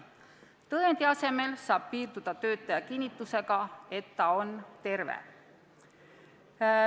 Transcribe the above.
Tõendi asemel võib piirduda töötaja kinnitusega, et ta on terve.